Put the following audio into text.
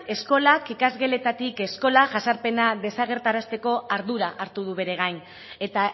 eskolak ikasgeletatik eskola jazarpena desagerrarazteko ardura hartu du bere gain eta